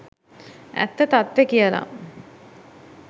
ඇත්ත තත්ත්වේ කියලා